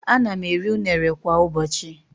Ana m eri unere kwa ụbọchị.